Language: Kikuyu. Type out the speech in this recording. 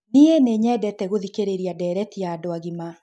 Nĩĩ nĩnyendete gũthikĩrĩrĩa ndereti ya andũ agĩma